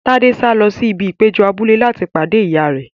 Tade sáré lọ sí ibi ìpéjọ abúlé láti pàdé ìyá rẹ.